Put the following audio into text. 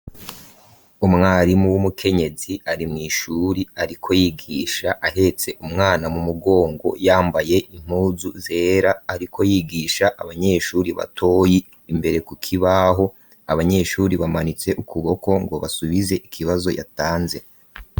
Umwarimu w'umukenyezi ari mw'ishuri ariko yigisha ahetse umwana mu mugongo yambaye impuzu zera, ariko yigisha abanyeshuri batoyi imbere ku kibaho abanyeshuri bamanitse ukuboko ngo basubize ikibazo yatanze.